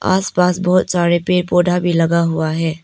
आसपास बहुत सारे पेड़ पौधा भी लगा हुआ है।